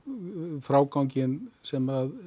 fráganginn sem